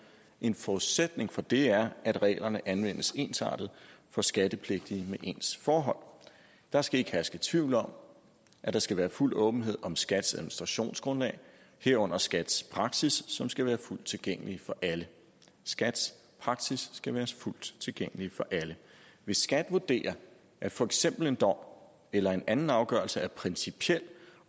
en forudsætning for det er at reglerne anvendes ensartet for skattepligtige med ens forhold der skal ikke herske tvivl om at der skal være fuld åbenhed om skats administrationsgrundlag herunder skats praksis som skal være fuldt tilgængelig for alle skats praksis skal være fuldt tilgængelig for alle hvis skat vurderer at for eksempel en dom eller en anden afgørelse er principiel